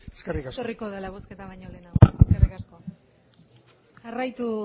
eskerrik asko etorriko dela bozketa baino lehenago eskerrik asko jarraitu